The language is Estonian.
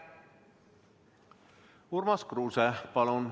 Urmas Kruuse, palun!